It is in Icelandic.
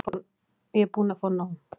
Ég er búin að fá nóg.